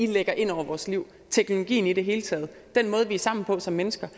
de lægger ind over vores liv teknologien i det hele taget den måde vi er sammen på som mennesker